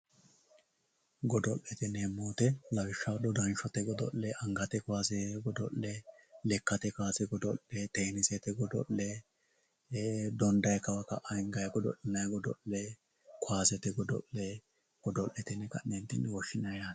Godo'lete yineemmo woyte lawishshaho dodanshote godo'le angate kaawase godo'le lekkate kaawase godo'le tenisete godo'le donidanni kawa ka"a hinganni godo'linanni godo'le kaawasete godo'le godo'lete yine woshshinanni yaate.